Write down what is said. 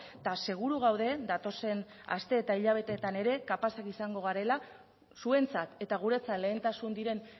eta seguru gaude datozen aste eta hilabeteetan ere kapazak izango garela zuentzat eta guretzat lehentasun diren